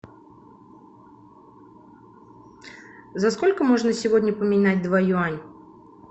за сколько можно сегодня поменять два юань